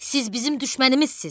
Siz bizim düşmənimizsiz!